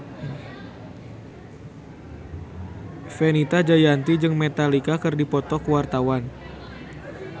Fenita Jayanti jeung Metallica keur dipoto ku wartawan